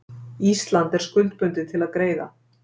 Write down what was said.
Ísland er skuldbundið til að greiða